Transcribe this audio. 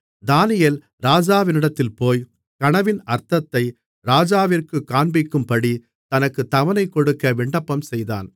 தானியேல் ராஜாவினிடத்தில் போய் கனவின் அர்த்தத்தை ராஜாவிற்குக் காண்பிக்கும்படித் தனக்குத் தவணைகொடுக்க விண்ணப்பம்செய்தான்